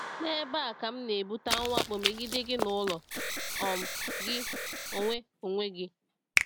“N’ebe a ka m na-ebute mwakpo megide gị n’ụlọ um gị onwe onwe gị.”